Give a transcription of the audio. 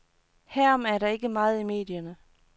Herom er der ikke meget i medierne.